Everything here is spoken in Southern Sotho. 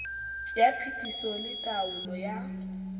ya phetiso le taolo ya